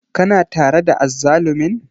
Kana tare da azzalumin?